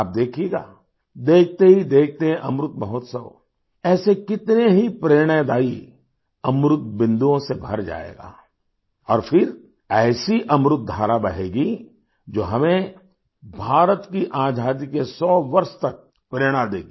आप देखिएगा देखते ही देखते अमृत महोत्सव ऐसे कितने ही प्रेरणादायी अमृत बिंदुओं से भर जाएगा और फिर ऐसी अमृत धरा बहेगी जो हमें भारत की आज़ादी के सौ वर्ष तक प्रेरणा देगी